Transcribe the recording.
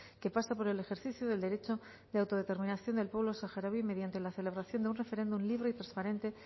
que pase por el ejercicio del derecho de autodeterminación del pueblo saharaui mediante la celebración de un referéndum libre transparente